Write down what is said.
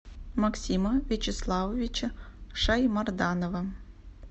максима вячеславовича шаймарданова